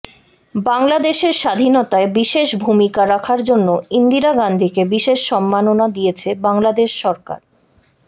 বাংলাদেশের স্বাধীনতায় বিশেষ ভূমিকা রাখার জন্য ইন্দিরা গান্ধীকে বিশেষ সন্মাননা দিয়েছে বাংলাদেশ সরকার